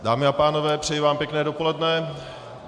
Dámy a pánové, přeji vám pěkné dopoledne.